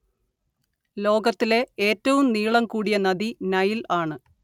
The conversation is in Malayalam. ലോകത്തിലെ ഏറ്റവും നീളം കൂടിയ നദി നൈല്‍ ആണ്